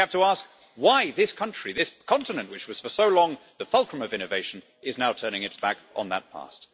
We have to ask why this country, this continent which was for so long the fulcrum of innovation is now turning its back on that past.